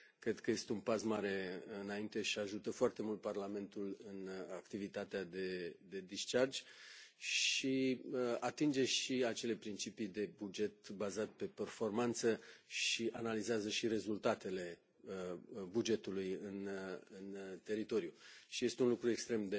Cred că este un pas mare înainte și ajută foarte mult Parlamentul în activitatea de descărcare de gestiune și atinge și acele principii de buget bazat pe performanță și analizează și rezultatele bugetului în teritoriu și este un lucru extrem